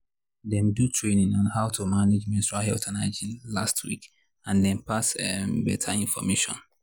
them do training on how to manage menstrual health and hygiene last week and them pass um better information.